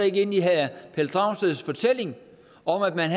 ikke ind i herre pelle dragsteds fortælling om at man